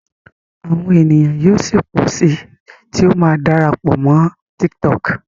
awọn ènìyàn yíò sí pọ sí tí o má dára pọ Mọ TikTok.